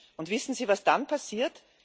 Und wissen Sie, was dann passiert?